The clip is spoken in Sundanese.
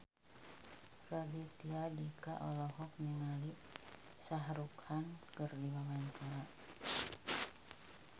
Raditya Dika olohok ningali Shah Rukh Khan keur diwawancara